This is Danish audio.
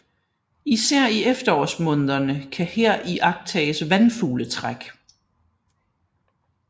Især i efterårsmånederne kan her iagttages vandfugletræk